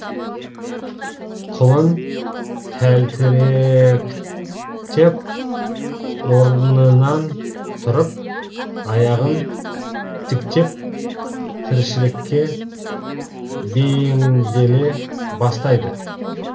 құлын тәлтіректеп орнынан тұрып аяғын тіктеп тіршілікке бейімделе бастайды